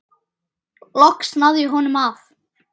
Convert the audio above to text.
Loks náði ég honum af.